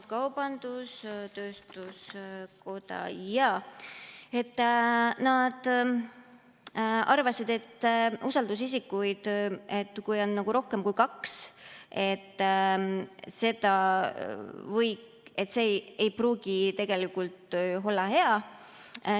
Kaubandus-tööstuskoda, jaa, arvas, et kui usaldusisikuid on rohkem kui kaks, siis see ei pruugi tegelikult olla hea.